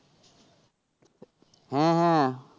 হ্যাঁ হ্যাঁ